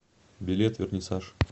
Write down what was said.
билет вернисаж